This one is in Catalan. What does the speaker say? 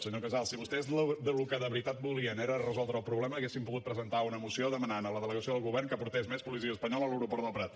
senyor casals si vostès el que de veritat volien era resoldre el problema haurien pogut presentar una moció demanant a la delegació del govern que portés més policia espanyola a l’aeroport del prat